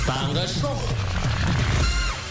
таңғы шоу